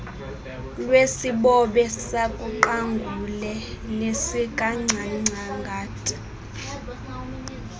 lwesibobe sikaqangule nesikangcangata